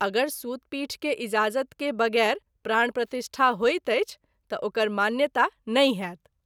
अगर सूत पीठ के इजाजत के वगैर प्राण प्रतिष्ठा होइत अछि त’ ओकर मान्यता नहिं होएत।